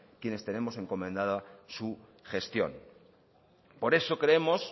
quienes tenemos encomendada su gestión por eso creemos